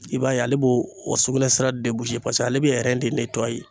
I b'a ye ale b'o o sugunɛ sira paseke ale bɛ